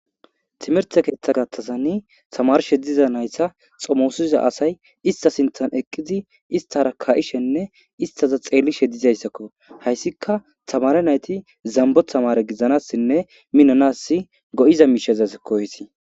Timerte keeththa gaththazani tamarishshe diza naytta xomosiza asay ista siinththan eqqidi isttara ka'ishenne istaza xeellishe dizayssakko hayssika tamare nayti zamboo tamare gidanassinne minanas go'iza miishezakko hayssi